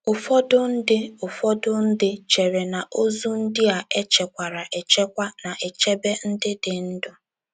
Ụfọdụ ndị Ụfọdụ ndị chere na ozu ndị a e chekwara echekwa na - echebe ndị dị ndụ.